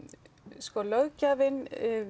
sko löggjafinn